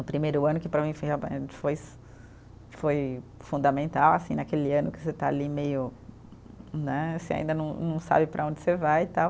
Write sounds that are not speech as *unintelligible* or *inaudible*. O primeiro ano que para mim foi *unintelligible* foi foi fundamental assim, naquele ano que você está ali meio, né, você ainda não não sabe para onde você vai e tal.